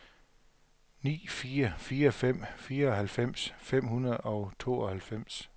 ni fire fire fem fireoghalvfems fem hundrede og tooghalvfems